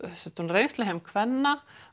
reynsluheim kvenna